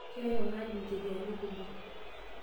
Keeta enaaji ncheriani kumok.